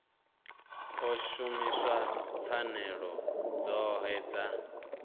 ḓo shumisa pfanelo dzoṱhe dza